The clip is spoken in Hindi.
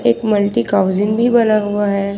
मल्टी भी बना हुआ है।